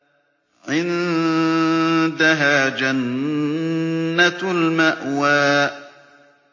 عِندَهَا جَنَّةُ الْمَأْوَىٰ